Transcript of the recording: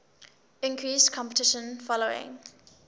increased competition following